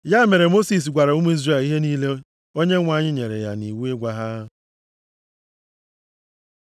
Ya mere Mosis gwara ụmụ Izrel ihe niile Onyenwe anyị nyere ya nʼiwu ịgwa ha.